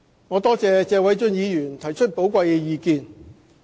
我多謝謝偉俊議員提出寶貴的意見。